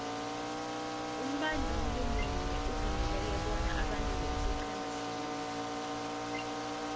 umbanduli munye uvumeleke bona abandule isiqhema sinye